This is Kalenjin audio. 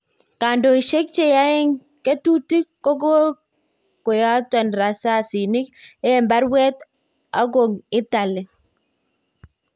Kandoishek cheyagn ketutik kokoyaton rasasinik eng baruet okong italy .